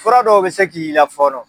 Fura dɔw be se k'i la fɔɔnɔ